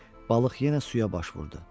Balıq yenə suya baş vurdu.